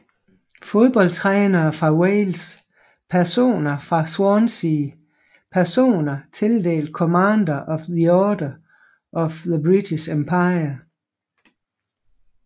Fodboldtrænere fra Wales Personer fra Swansea Personer tildelt Commander of the Order of the British Empire